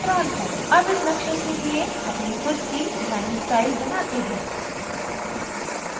अब इस नक़्शे के लिए अपनी खुद की line स्टाइल बनाते हैं